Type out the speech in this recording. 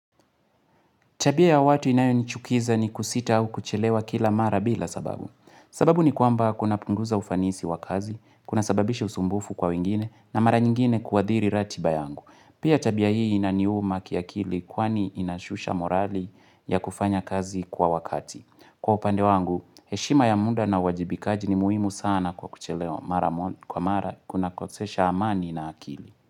Tabia ya watu inayoni chukiza ni kusita au kuchelewa kila mara bila sababu. Sababu ni kwamba kuna punguza ufanisi wa kazi, kuna sababisha usumbufu kwa wengine, na mara nyingine kuathiri ratiba yangu. Pia tabia hii inaniuma kia kili kwani inashusha morali ya kufanya kazi kwa wakati. Kwa upande wangu, heshima ya muda na wajibikaji ni muhimu sana kwa kuchelewa mara kwa mara kunakosesha amani na akili.